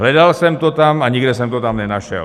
Hledal jsem to tam a nikde jsem to tam nenašel.